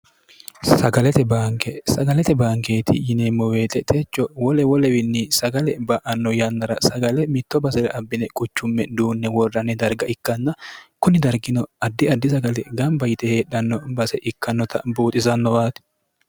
bnksagalete baankeeti yineemmo weexetecho wolewolewiinni sagale ba'anno yannara sagale mitto basire abbine quchumme duunne worranni darga ikkanna kunni dargino addi addi sagale gamba yite heedhanno base ikkannota buuxisannobaati